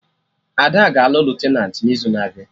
Ada ga-alụ Lutenat n'izu na-abịa